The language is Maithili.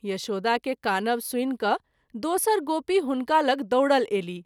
यशोदा के कानब सुनि क’ दोसर गोपी हुनका लग दौड़ल अयलीह।